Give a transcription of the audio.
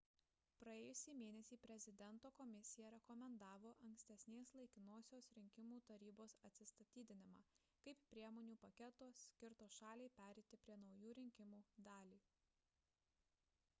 praėjusį mėnesį prezidento komisija rekomendavo ankstesnės laikinosios rinkimų tarybos atsistatydinimą kaip priemonių paketo skirto šaliai pereiti prie naujų rinkimų dalį